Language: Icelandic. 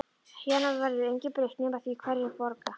Héðan af verður engu breytt nema því hverjir borga.